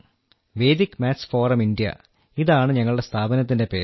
Vedic maths forum India എന്നാണ് ഞങ്ങളുടെ സ്ഥാപനത്തിന്റെ പേര്